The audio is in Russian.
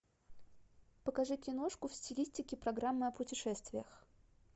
покажи киношку в стилистике программы о путешествиях